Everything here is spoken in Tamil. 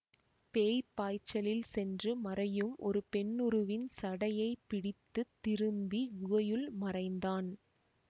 பேய்ப் பாய்ச்சலில் சென்று மறையும் ஒரு பெண்ணுருவின் சடையைப் பிடித்து திரும்பி குகையுள் மறைந்தான்